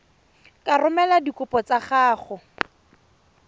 ka romela dikopo tsa gago